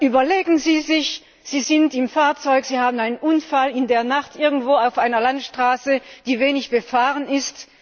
Überlegen Sie sich Sie sind im Fahrzeug, Sie haben einen Unfall in der Nacht irgendwo auf einer Landstraße, die wenig befahren ist.